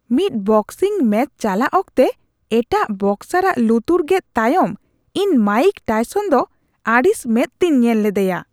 ᱢᱤᱫ boxing match ᱪᱟᱞᱟᱜ ᱚᱠᱛᱮ ᱮᱴᱟᱜ ᱵᱚᱠᱥᱟᱨᱟᱜ ᱞᱩᱛᱩᱨ ᱜᱮᱫ ᱛᱟᱭᱚᱢ ᱤᱧ ᱢᱟᱭᱤᱠ ᱴᱟᱤᱥᱚᱱ ᱫᱚ ᱟᱹᱲᱤᱥ ᱢᱮᱸᱫᱛᱤᱧ ᱧᱮᱞ ᱞᱮᱫᱮᱭᱟ ᱾